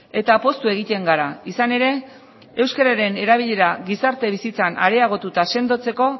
eta poztu egiten gara izan ere euskararen erabilera gizarte bizitzan areagotu eta sendotzeko